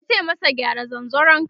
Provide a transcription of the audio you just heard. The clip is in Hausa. yace masa "gyara zanzaron ka!"